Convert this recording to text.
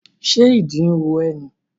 Ṣé ìdí ro ẹ́ ni?